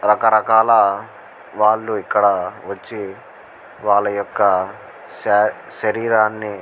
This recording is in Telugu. రక రకాల వాళ్ళు ఇక్కడ వచ్చి వాళ్ళ యొక్క శ శేరిరాని --